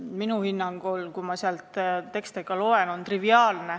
Nii on minu hinnangul, kui ma neid tekste loen.